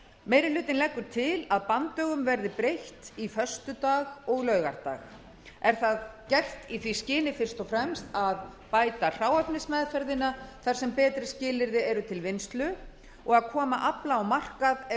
meiri hlutinn leggur til að banndögum verði breytt í föstudag og laugardag er það gert í því skyni fyrst og fremst að bæta hráefnismeðferðina þar sem betri skilyrði eru til vinnslu og að koma afla á markað ef